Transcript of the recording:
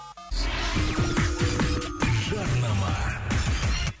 жарнама